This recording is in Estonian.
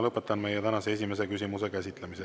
Lõpetan tänase esimese küsimuse käsitlemise.